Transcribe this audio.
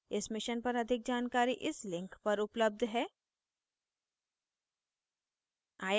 इस mission पर अधिक जानकारी इस लिंक पर उपलब्ध है